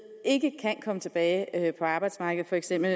ikke kan komme tilbage på arbejdsmarkedet for eksempel